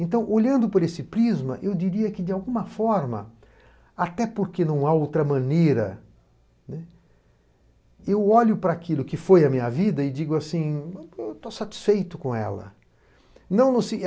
Então, olhando por esse prisma, eu diria que, de alguma forma, até porque não há outra maneira, eu olho para aquilo que foi a minha vida e digo assim, estou satisfeito com ela.